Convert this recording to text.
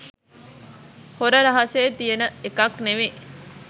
හොර රහසෙ තියෙන එකක් නෙවෙයි.